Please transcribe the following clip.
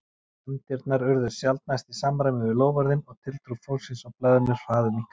Efndirnar urðu sjaldnast í samræmi við loforðin og tiltrú fólksins á blaðinu hraðminnkaði.